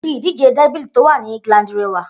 Ibi ìdíje dẹ́bìl tó wà ní England rẹwà